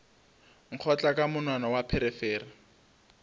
nkgotla ka monwana wa pherefere